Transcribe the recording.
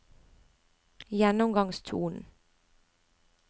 gjennomgangstonen